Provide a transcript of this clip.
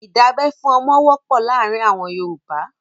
ìdábẹ́ fún ọmọ wọ́pọ̀ láàárin àwọn Yorùbá.